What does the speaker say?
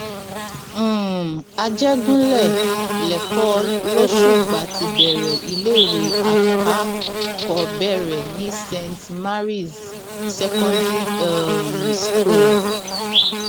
um àjẹgúnlẹ lẹkọọ lọṣùpá ti bẹrẹ iléèwé àkàkọọbẹrẹ ní saint marys secondary um school